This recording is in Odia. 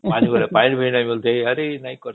ପାଣି ବି ନାଇଁ ଆରେ ନାଇଁ କହ ନାଇଁ କହ